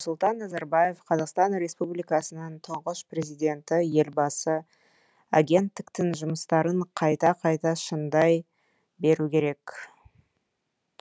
нұрсұлтан назарбаев қазақстан республикасының тұңғыш президенті елбасы агенттіктің жұмыстарын қайта қайта шыңдай беру керек